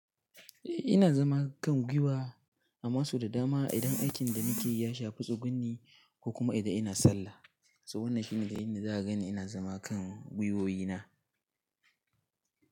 Eh ina zama kan gwiwa amma sau da dama idan aikin da nake yi ya shafi tsugunni ko kuma idan ina sallah. Toh, wannan shine dai inda za a ganni ina zama kan gwiwowi na.